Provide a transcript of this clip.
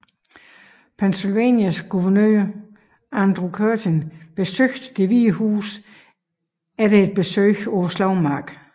Pennsylvanias guvernør Andrew Curtin besøgte Det hvide Hus efter et besøg på slagmarken